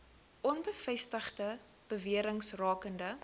onbevestigde bewerings rakende